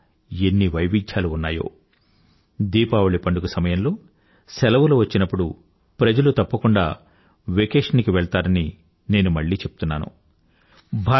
మన వద్ద ఎన్ని వైవిధ్యాలు ఉన్నాయో దీపావళి పండుగ సమయంలో సెలవులు వచ్చినప్పుడు ప్రజలు తప్పకుండా వెకేషన్ కి వెళ్తారని నేను మళ్ళీ చెప్తున్నాను